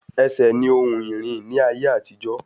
Ẹsẹ̀ ní ohun ìrìn ní ayé àtijó